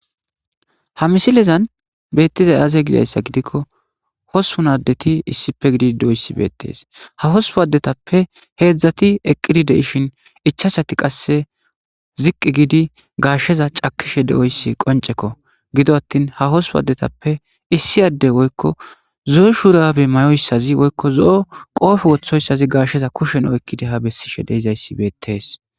Ha misilezan betizayisi aze gizayisa gidikko osssippun adet issippe gidid dizayisi beteesi ha ossuppun adezappe hedzdzat eqidi dishshin ichchachat qase ziqi gid gashsheya cakishshe deiyoyis qonicekko giddoni atin ha osippun adetape issoi ade woyikko zoo shurabe mayoyisas woyikko zo qoppe wwoththosaz gashsheza kushshen oyikkidi ha beesishe deizayisi betees